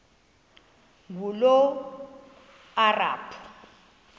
ngulomarabu